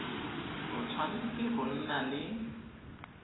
o tshwanetse go nna le